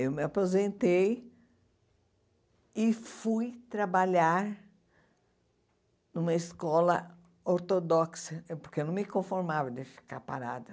Eu me aposentei e fui trabalhar numa escola ortodoxa, porque eu não me conformava de ficar parada.